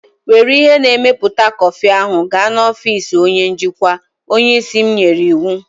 Were ihe na-emepụta kọfị ahụ gaa n'ọfịs onye njikwa! Onye isi m nyere iwu.